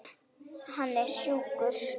Hann er sjúkur.